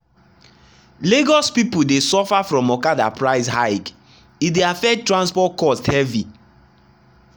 lagos people dey suffer from okada price hike e dey affect transport cost heavy.